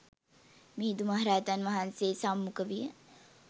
මිහිඳු මහරහතන් වහන්සේ සම්මුඛ විය.